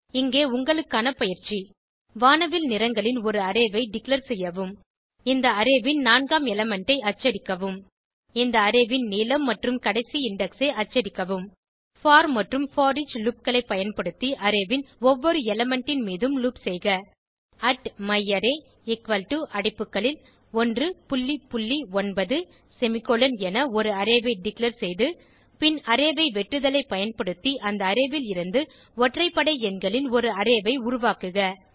இங்கே உங்களுக்கான பயிற்சி வானவில் நிறங்களின் ஒரு அரே ஐ டிக்ளேர் செய்யவும் இந்த அரே ன் நான்காம் எலிமெண்ட் ஐ அச்சடிக்கவும் இந்த அரே ன் நீளம் மற்றும் கடைசி இண்டெக்ஸ் ஐ அச்சடிக்கவும் போர் மற்றும் போரிச் loopகளை பயன்படுத்தி அரே ன் ஒவ்வொரு எலிமெண்ட் ன் மீதும் லூப் செய்க myArray அடைப்புகளில் 19 செமிகோலன் என ஒரு அரே ஐ டிக்ளேர் செய்து பின் அரே ஐ வெட்டுதலை பயன்படுத்தி அந்த அரே ல் இருந்து ஒற்றைப்படை எண்களின் ஒரு அரே ஐ உருவாக்குக